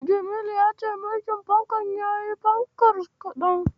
Jamilu ya ce mirƙin fankar yayi fankar kaɗan.